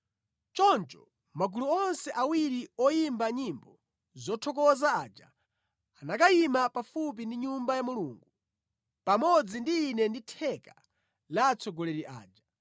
Choncho magulu onse awiri oyimba nyimbo zothokoza aja anakayima pafupi ndi Nyumba ya Mulungu. Pamodzi ndi ine ndi theka la atsogoleri aja,